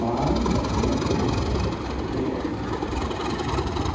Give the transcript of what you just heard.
Mas eu tinha uma presença boa, né?